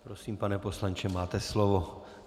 Prosím, pane poslanče, máte slovo.